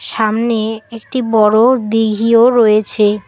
সামনে একটি বড় দিঘীও রয়েছে।